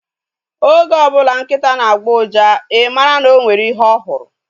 Oge ọbụla nkịta na-agbọ uja, I mara na o nwere ihe ọ hụrụ